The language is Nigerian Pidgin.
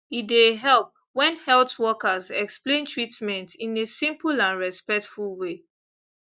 e dey help when health workers explain treatment in a simple and respectful way